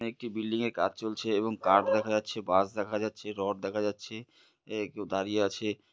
একটি বিল্ডিং এ কাজ চলছে এবং কাঠ দেখা যাচ্ছে বাঁশ দেখা যাচ্ছে রড দেখা যাচ্ছে আ কেউ দাঁড়িয়ে আছে।